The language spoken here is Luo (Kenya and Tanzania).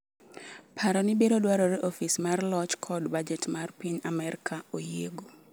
Paroni biro dwarore ni Ofis mar Loch kod Bajet mar piny Amerka oyiego.